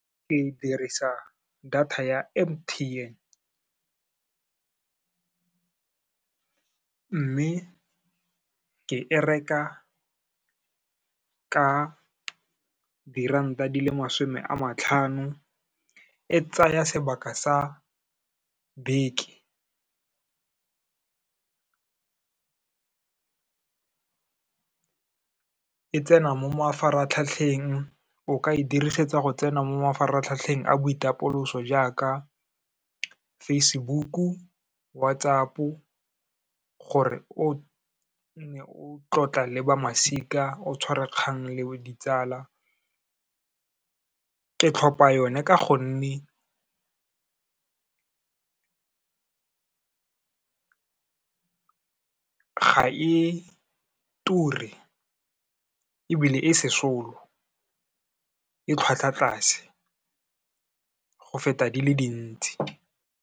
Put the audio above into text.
Ke dirisa data ya M_T_N, mme ke e reka ka diranta di le masome a matlhano, e tsaya sebaka sa beke, e tsena mo mafaratlhatlheng, o ka e dirisetsa go tsena mo mafaratlhatlheng a boitapoloso jaaka Facebook-u, WhatsApp-o gore o nne o tlotla le ba masika, o tshwara kgang le ditsala. Ke tlhopa yone ka gonne ga e ture ebile e sesolo, e tlhwatlhwatlase go feta di le dintsi.